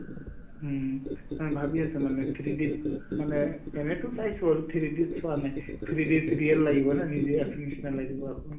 হুম, এই ভাবি আছো মানে three D ত মানে এনেতো চাইছো আৰু three D ত চোৱা নাই three D ত real লাগিব নহয় নিজে আছোৰ নিচিনা লাগিব আকৌ